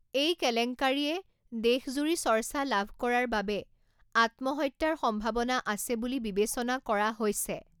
এই কেলেংকাৰিয়ে দেশজুৰি চৰ্চা লাভ কৰাৰ বাবে আত্মহত্যাৰ সম্ভাৱনা আছে বুলি বিবেচনা কৰা হৈছে।